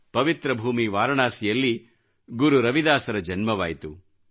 ಪವಿತ್ರ ಭೂಮಿ ವಾರಣಾಸಿಯಲ್ಲಿ ಗುರು ರವಿದಾಸರ ಜನ್ಮವಾಯಿತು